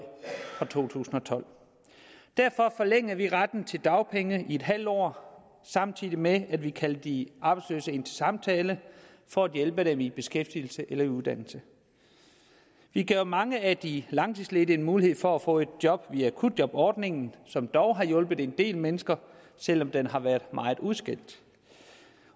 fra to tusind og tolv derfor forlængede vi retten til dagpenge i en halv år samtidig med at vi kaldte de arbejdsløse ind til samtale for at hjælpe dem i beskæftigelse eller uddannelse vi gav mange af de langtidsledige en mulighed for at få et job via akutjobordningen som dog har hjulpet en del mennesker selv om den har været meget udskældt